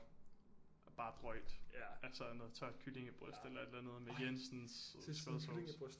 Bare drøjt altså noget tørt kyllingebryst eller et eller andet med Jensens sursødsauce